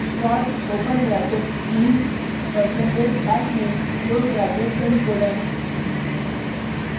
sort open bracket keys percentage hashname close bracket semicolon